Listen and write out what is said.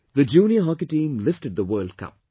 The Junior Hockey Team lifted the World Cup